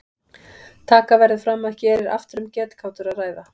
Taka verður fram að hér er aftur um getgátur að ræða.